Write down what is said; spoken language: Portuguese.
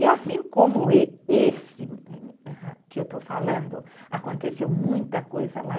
E assim como esse que eu estou falando, aconteceu muita coisa lá.